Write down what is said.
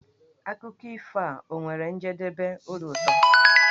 Akụkọ ifo a ọ nwere njedebe obi ụtọ?